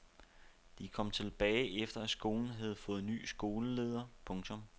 De kom tilbage efter at skolen havde fået ny skoleleder. punktum